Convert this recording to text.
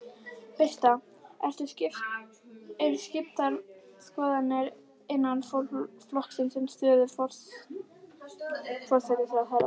Birta: Eru skiptar skoðanir innan flokksins um stöðu forsætisráðherra?